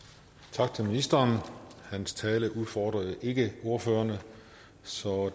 tak til ministeren hans tale udfordrede ikke ordførerne så